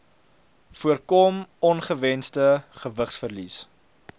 voorkom ongewensde gewigsverlies